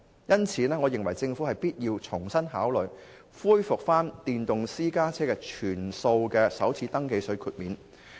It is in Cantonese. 因此，我認為政府必須重新考慮恢復電動私家車首次登記稅的全數豁免。